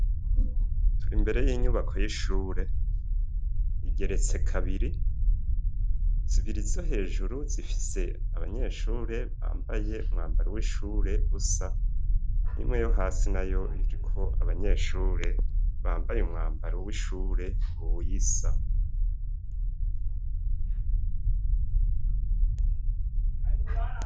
Tur'imbere y'inyubako y'ishure igeretse kabiri, zibiri zo hejuru zifise abanyeshure bambaye umwambaro w'ishure usa, imwe yo hasi nayo iriko abanyeshure bambaye umwambaro w'ishure wisa.